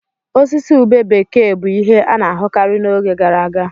Osisi ube bekee bụ ihe a na-ahụkarị n'oge gara aga.